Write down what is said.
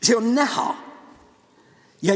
See on näha.